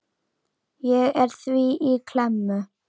Ég er því í klemmu.